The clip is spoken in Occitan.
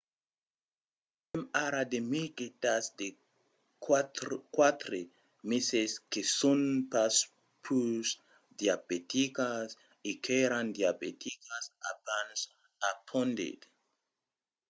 "avèm ara de mirguetas de 4 meses que son pas pus diabeticas e qu’èran diabeticas abans, apondèt